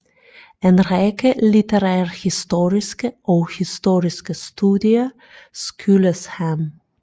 En række litterærhistoriske og historiske studier skyldes ham